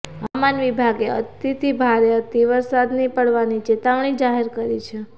હવામાન વિભાગે ભારેથી અતિભારે વરસાદ પડવાની ચેતવણી જાહેર કરી છે